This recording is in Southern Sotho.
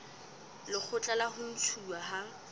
lekgotla la ho ntshuwa ha